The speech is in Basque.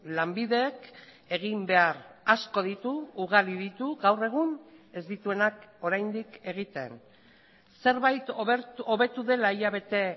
lanbidek egin behar asko ditu ugari ditu gaur egun ez dituenak oraindik egiten zerbait hobetu dela hilabete